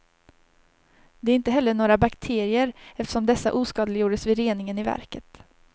Det är inte heller några bakterier, eftersom dessa oskadliggjordes vid reningen i verket.